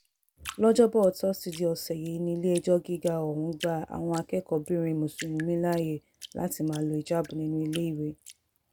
lọ́jọ́bọ́ tọ́sídẹ̀ẹ́ ọ̀sẹ̀ yìí nílé-ẹjọ́ gíga ọ̀hún gba àwọn akẹ́kọ̀ọ́-bìnrin mùsùlùmí láàyè láti máa lo híjáàbù nínú iléèwé